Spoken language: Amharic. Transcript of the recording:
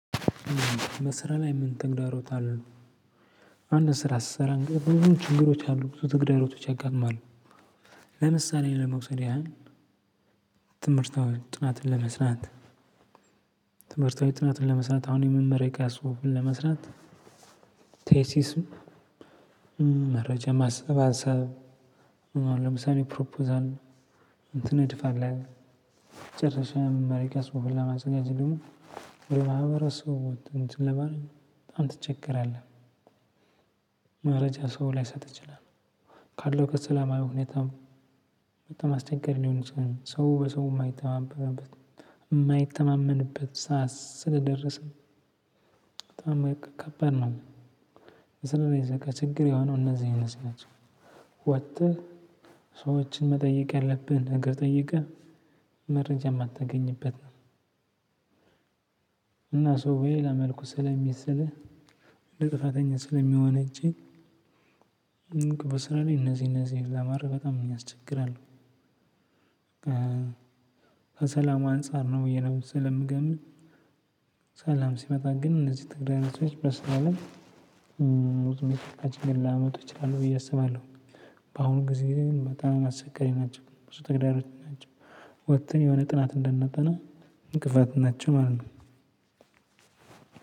በስራ ላይ ምን ተግዳሮት አሉ? አንድ ስራ ስሰራ እንግዲህ ብዙ ችግሮች አሉ ብዙ ተግዳሮቶች ያጋጥማሉ። ለምሳሌ ለመውሰድ ያህል ትምርት አሁን ጥናትን ለመስራት ትምርታዊ ጥናትን ለመስራት አሁን የመመረቂያ ጽሁፍ ለመስራት ቴሲስም መረጃ ማሰባሰብ አሁን ለምሳሌ ፕሮፖዛል ትነድፋለህ ጨርሰህም መመረቂያ ጽሁፍ ለማዘጋጀት ደግሞ ማህበረሰቡ እንትን ለማለት በጣም ትቸገራለህ። መረጃ ሰው ላይሰጥ ይችላል ካለው ከሰላማዊ ሁኔታ በጣም አስቸጋሪ ሊሆን ይችላል ሰው በሰው የማይተማመንበት የማይተማመንበት ሰዓት ስለደረሰ በጣም ከባድ ነው። ስለዚህ በቃ ችግር የሆነው እነዚህ እነዚህ ናቸው። ወተህ ሰዎችን መጠየቅ ያለብህን ነገር ጠይቀህ መረጃ የማታገኝበት ነው። እና ሰው በሌላ መልኩ ስለሚሰለህ እንደ ጥፋተኛ ስለሚወነጅል ቅቡ ስራ ላይ እነዚህ እነዚህ ለመረግ በጣም የሚያስቸግር አለው። ከሰላም አንፃር ነው የነበረው ስለምገትን ሰላም ሲመጣ ግን እነዚህ ትግዳሮቶች በስራ ላይ። ላመጡ ይችላሉ ብዬ አስባለሁ። በአሁን ጊዜ በጣም አሰቸጋሪ ናቸው ብዙ ተግዳሮት ናቸው። ወጥተን የሆነ ጥናት እንዳናጠነ እንቅፋት ናቸው ማለት ነው።